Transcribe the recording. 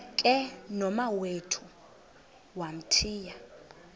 ke nomawethu wamthiya